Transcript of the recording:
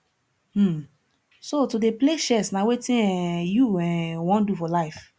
um so to dey play chess na wetin um you um wan do for life